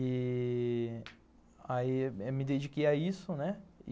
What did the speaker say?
E aí me dediquei a isso, né?